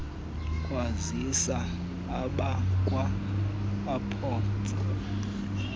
kwazisa abakwa airports